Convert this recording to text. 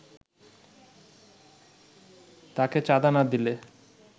তাকে চাঁদা না দিলে